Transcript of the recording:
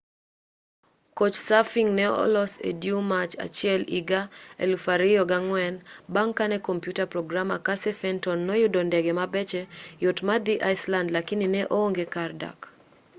couchsurfing ne olos e due mar achiel iga 2004 bang' kane computer programmer casey fenton noyudo ndege mabeche yot madhi iceland lakini ne oonge kar dak